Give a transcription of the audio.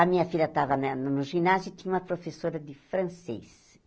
A minha filha estava na no no ginásio e tinha uma professora de francês.